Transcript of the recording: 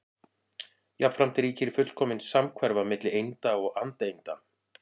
Jafnframt ríkir fullkomin samhverfa milli einda og andeinda.